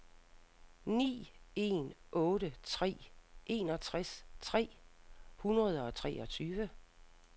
ni en otte tre enogtres tre hundrede og treogtyve